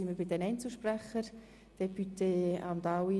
Somit kommen wir zu den Einzelsprechenden.